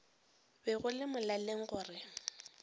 be go le molaleng gore